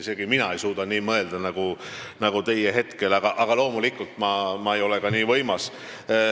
Isegi mina ei suuda nii mõelda nagu teie hetkel, aga loomulikult ei ole ma ka nii võimas.